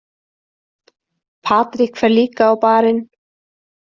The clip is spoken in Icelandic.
Patrik fer líka á Bar- inn.